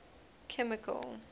chemical